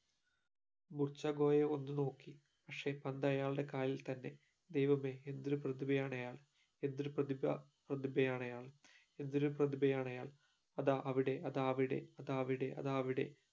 ഒന്ന് നോക്കി പക്ഷേ പന്ത് ആയാളുടെ കാലിൽ തന്നെ ദൈവമേ എന്തൊരു പ്രധിബയാണ് അയാൾ ന്തൊരു പ്രതിപ പ്രതിപയാണയാൽ എന്തൊരു പ്രതിപയണയാൽ അതാ അവിടിടെ അതാ അവിടിടെ അതാ അവിടെ അതാ അവിടെ